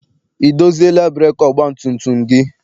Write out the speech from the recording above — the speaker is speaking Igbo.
I doziela breekị ọgbatumtum gị?